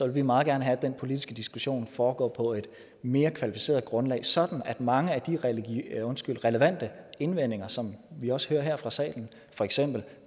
vi meget gerne have at den politiske diskussion foregår på et mere kvalificeret grundlag sådan at mange af de relevante indvendinger som jeg også høre her fra salen for eksempel